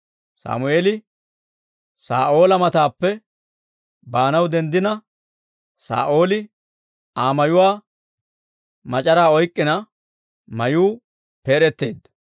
Sammeeli Saa'oola matappe baanaw denddina, Saa'ooli Aa mayuwaa mac'araa oyk'k'ina mayuu peed'eteedda.